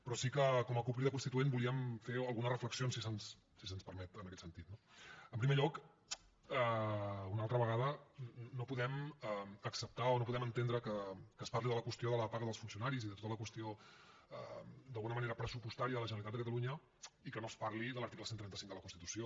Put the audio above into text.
però sí que com a cup crida constituent volíem fer algunes reflexions si se’ns permet en aquest sentit no en primer lloc una altra vegada no podem acceptar o no podem entendre que es parli de la qüestió de la paga dels funcionaris i de tota la qüestió d’alguna manera pressupostària de la generalitat de catalunya i que no es parli de l’article cent i trenta cinc de la constitució